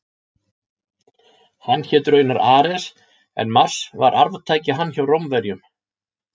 Hann hét raunar Ares en Mars var arftaki hans hjá Rómverjum.